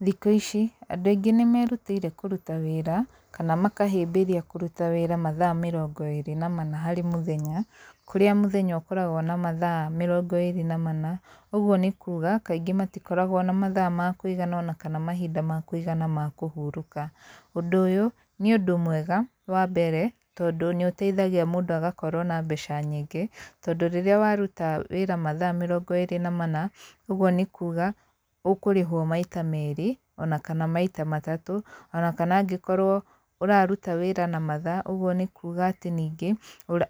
Thikũ ici, andũ aingĩ nĩ merutĩire kũruta wĩra, kana makahĩmbĩria kũruta wĩra mathaa mĩrongo ĩrĩ na mana harĩ mũthenya, kũrĩa mũthenya ũkoragwo na mathaa mĩrongo ĩĩrĩ na mana, ũguo nĩ kuuga, kaingĩ matikoragwo na mathaa ma kũigana ona kana mahinda ma kũigana ma kũhurũka. Ũndũ ũyũ, nĩ ũndũ mwega wa mbere, tondũ nĩ ũteithagia mũndũ agakorwo na mbeca nyingĩ, tondũ rĩrĩa waruta wĩra mathaa mĩrongo ĩrĩ na mana, ũguo nĩ kuuga, ũkũrĩhwo maita merĩ, ona kana maita matatũ, ona kana angĩkorwo ũraruta wĩra na mathaa, ũguo nĩ kuuga atĩ ningĩ,